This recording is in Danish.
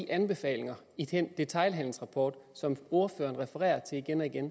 anbefalingerne i den detailhandelsrapport som ordføreren igen og igen